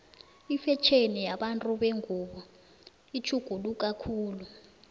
ifetjheni yabantu bengubo itjhuguluka khulu